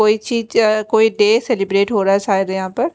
कोई चीज कोई डे सेलिब्रेट हो रहा है शायद यहां पर--